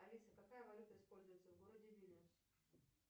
алиса какая валюта используется в городе вильнюс